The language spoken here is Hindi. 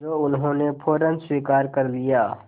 जो उन्होंने फ़ौरन स्वीकार कर लिया